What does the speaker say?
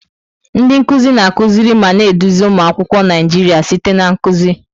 Ndị nkuzi na-akụziri ma na-eduzi ụmụ akwụkwọ Naijiria site na nkuzi.